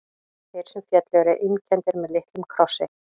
Þeir sem féllu eru einkenndir með litlum krossi.